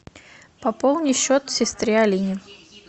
пополни счет сестре алине